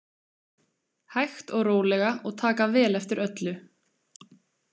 Hægt og rólega og taka vel eftir öllu.